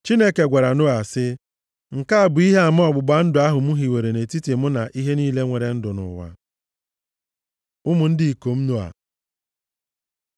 Chineke gwara Noa sị, “Nke a bụ ihe ama ọgbụgba ndụ ahụ m hiwere nʼetiti mụ na ihe niile nwere ndụ nʼụwa.” Ụmụ ndị ikom Noa